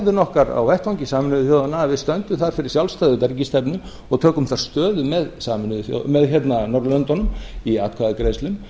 kosningahegðun okkar á vettvangi sameinuðu þjóðanna að við stöndum þar fyrir sjálfstæðri utanríkisstefnu og tökum þar stöðu með norðurlöndunum í atkvæðagreiðslum